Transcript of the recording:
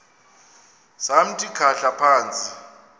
samthi khahla phantsi